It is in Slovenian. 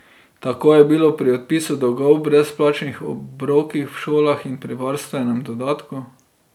Tako je bilo pri odpisu dolgov, brezplačnih obrokih v šolah in pri varstvenem dodatku.